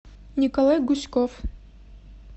николай гуськов